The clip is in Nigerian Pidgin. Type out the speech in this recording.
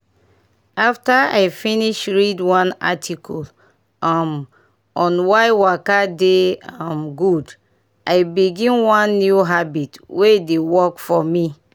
after i finish read one article um on why waka dey um good i begin one new habit wey dey work for me.